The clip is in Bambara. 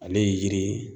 Ale ye yiri ye